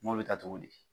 N m'o bɛ ta cogo di